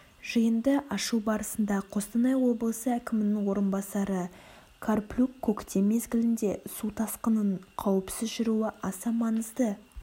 жиынды ашу барысында қостанай облысы әкімінің орынбасары карплюк көктем мезгілінде су тасқынының қауіпсіз жүруі аса маңызды